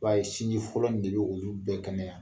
I b'a ye sinji fɔlɔ in de bi olu bɛɛ kɛnɛya